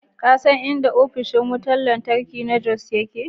Ka san inda ofishin wutar lantarki na Jos yake?